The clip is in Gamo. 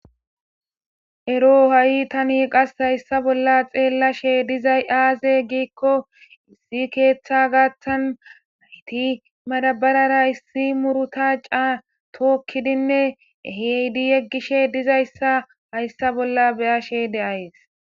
ero ha7i tani qas hayssa bolla xeellashe dizay aaze giikko issi keeththa gaathan hayti marabarara issi muruta catookkidinne heydi yeggishe dizayssa hayssa bolla beya she de aes